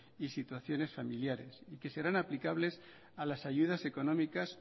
y situaciones familiares y que serán aplicables a las ayudas económicas